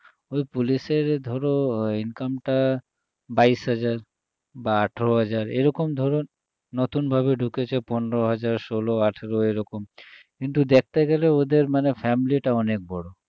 ওই পুলিশের ধরো income টা বাইশ হাজার বা আঠারো হাজার এরকম ধরো নতুন ভাবে ঢুকেছে পনেরো হাজার ষোলো আঠারো এরকম কিন্তু দেখতে গেলে ওদের মানে family টা অনেক বড়